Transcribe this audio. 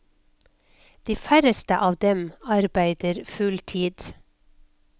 De færreste av dem arbeider full tid.